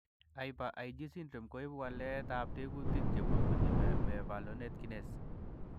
Hyper IgD syndrome koibu waletab tekutik chebubunyi mevalonate kinase